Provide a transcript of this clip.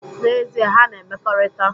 N,ezie, ha na-emekọrita.